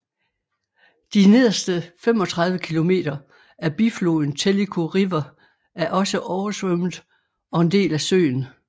De nederste 35 km af bifloden Tellico River er også oversvømmet og en del af søen